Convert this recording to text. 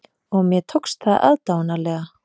Og mér tókst það aðdáunarlega.